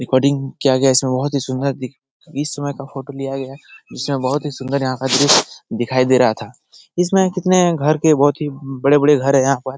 Recording किया गया इसमें बहुत ही सुंदर समय का फोटो लिया गया इसमें बहुत ही सुंदर यहां का दृश्य दिखाई दे रहा था इसमें कितने घर के बहुत ही बड़े-बड़े घर है यहां पर।